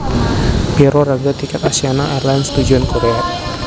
Piro rega tiket Asiana Airlines tujuan Korea